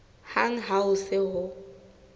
hang ha ho se ho